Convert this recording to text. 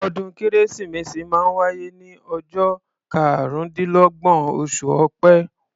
Ọdún kérésìmesì máa ń wáyé ní ọjọ́ karúndínlọ́gbọ̀n, oṣù ọpẹ́